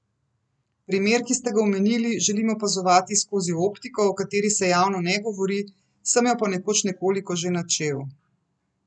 Primer, ki ste ga omenili, želim opazovati skozi optiko, o kateri se javno ne govori, sem jo pa nekoč nekoliko že načel.